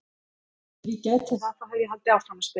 Ef ég gæti það þá hefði ég haldið áfram að spila!